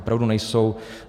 Opravdu nejsou.